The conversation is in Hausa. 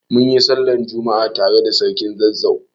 Munyi sallar juma'a tare da sarkin Zazzau